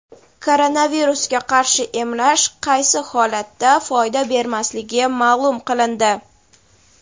Koronavirusga qarshi emlash qaysi holatda foyda bermasligi ma’lum qilindi.